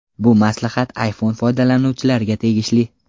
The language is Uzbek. Bu maslahat iPhone foydalanuvchilariga tegishli.